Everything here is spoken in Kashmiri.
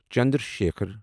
چندرا شیکھر